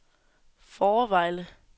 Fårevejle